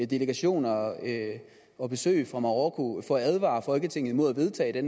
delegationer og og besøg fra marokko for at advare folketinget imod at vedtage det